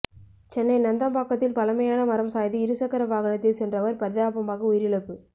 சென்னை நந்தம்பாக்கத்தில் பழமையான மரம் சாய்ந்து இருசக்கர வாகனத்தில் சென்றவர் பரிதாபமாக உயிரிழப்பு